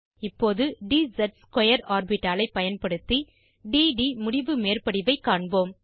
இப்போது dz2 ஆர்பிட்டாலை பயன்படுத்தி d ட் முடிவு மேற்படிவைக் காண்போம்